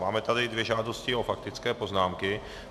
Máme tady dvě žádosti o faktické poznámky.